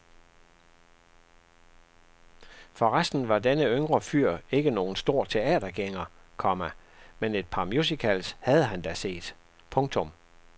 For resten var denne yngre fyr ikke nogen stor teatergænger, komma men et par musicals havde han da set. punktum